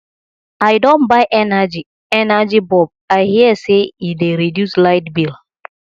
i don buy energy energy bulb i hear sey e dey reduce light bill